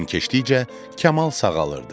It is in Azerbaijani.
Gün keçdikcə Kamal sağalırdı.